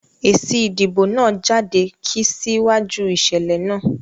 Èsì ìdìbò náà jáde kí sí wáju ìṣẹ̀lẹ̀ náà